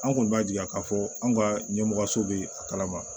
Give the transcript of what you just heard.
An kɔni b'a jira k'a fɔ anw ka ɲɛmɔgɔ so bɛ a kalama